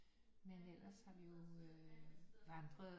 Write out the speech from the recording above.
Men ellers har vi jo øh vandret